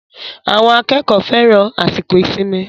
Àwọn akẹ́kọ̀ọ́ fẹ́ran àsìkò ìsinmi.